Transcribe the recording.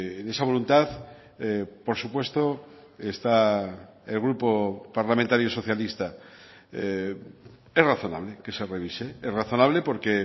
en esa voluntad por supuesto está el grupo parlamentario socialista es razonable que se revise es razonable porque